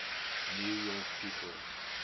new york people